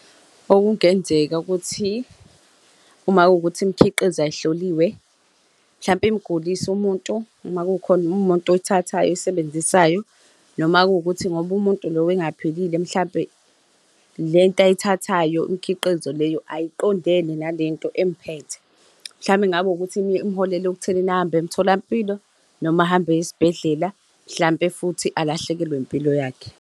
Okungenzeka ukuthi, uma kuwukuthi imikhiqizo ayihloliwe, mhlampe imgulise umuntu uma kukhona umuntu oyithathayo oyisebenzisayo noma kuwukuthi ngoba umuntu lo engaphilile, mhlampe le nto ayithathayo imikhiqizo leyo ayiqondene nalento emphethe. Mhlawumbe kungaba ukuthi imuholele ekuthenini ahamba emtholampilo noma ahamba esibhedlela, mhlawumpe futhi alahlekelwe impilo yakhe.